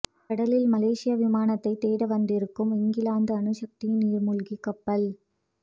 கடலில் மலேசிய விமானத்தை தேட வந்திருக்கும் இங்கிலாந்து அணுசக்தி நீர்மூழ்கி கப்பல்